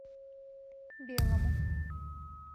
белому